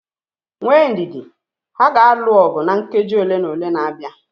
Nwee ndidi, ha ga-alụ ọgụ na nkeji ole na ole na-abịa